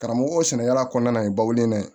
Karamɔgɔ sɛnɛkɛla kɔnɔna ye bawulen na yen